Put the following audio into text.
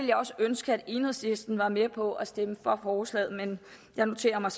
jeg også ønske at enhedslisten var med på at stemme for forslaget men jeg noterer mig